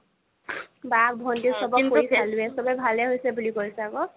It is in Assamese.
বা ভন্তি চ'বক কৰি চালোয়ে চ'বে ভালে হৈছে বুলি কৈছে আকৌ